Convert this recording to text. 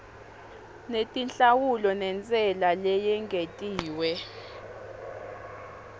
netinhlawulo nentsela leyengetiwe